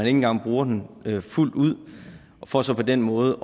engang bruger den fuldt ud for så på den måde